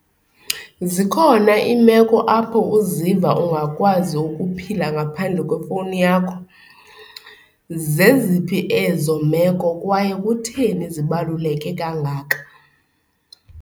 Zikhona iimeko apho uziva ungakwazi ukuphila ngaphandle kwefowuni yakho. Zeziphi ezo meko kwaye kutheni zibaluleke kangaka?